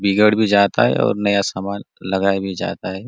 बिगड़ भी जाता है और नया सामान लगाया भी जाता हैं।